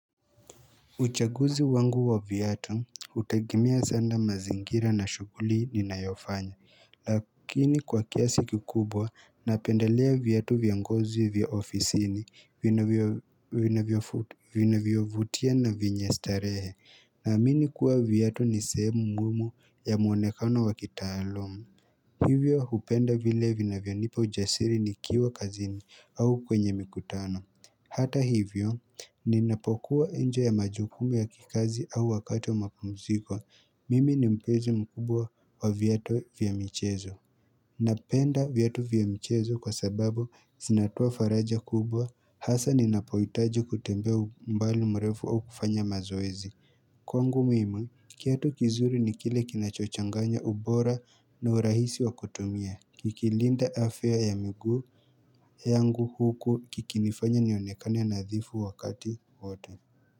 Uchaguzi wangu wa viatu, hutegemea sana mazingira na shuguli ninayofanya, lakini kwa kiasi kikubwa, napendelea viatu vya ngozi vya ofisi vinavyo vinavyovutia na vyenye starehe, naamini kuwa viatu ni sehemu muhimu ya muonekano wakitaalamu. Hivyo hupenda vile vinavyanipa ujasiri nikiwa kazini au kwenye mikutano. Hata hivyo, ninapokuwa nje ya majukumu ya kikazi au wakati wa mapumziko, mimi ni mpenzi mkubwa wa viatu vya michezo. Napenda viatu vya mchezo kwa sababu zinatoa faraja kubwa hasa ninapohitaji kutembea umbali mrefu au kufanya mazoezi. Kwangu mimi, kiatu kizuri ni kile kinachochanganya ubora na urahisi wa kutumia Kikilinda afya ya miguu yangu huku kikinifanya nionekane nadhifu wakati wote.